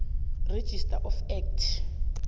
registrar of act